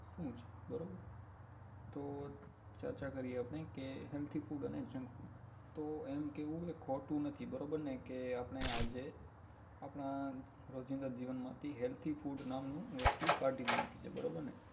શું છે બરોબર તો ચર્ચા કરીએ આપણે કે healthy food અને junk food તો એમ કેહવું ને એ ખોટું નથી બરોબર ને કે આપણે આજે આપણા રોજિંદા જીવન માંથી healthy food નામનું વસ્તુ કાઢી જ નાખી છે બરોબર ને